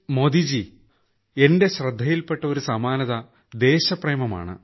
മോദിജി എന്റെ ശ്രദ്ധയിൽപെട്ട ഒരു സമാനത ദേശപ്രേമമാണ്